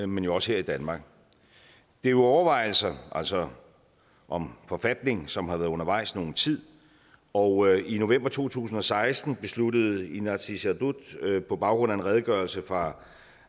men også her i danmark det er jo overvejelser altså om en forfatning som har været undervejs i nogen tid og i november to tusind og seksten besluttede inatsisartut på baggrund af en redegørelse fra